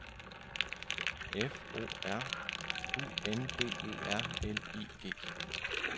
F O R U N D E R L I G